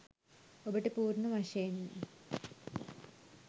ඔබට පූර්ණ වශයෙන්ම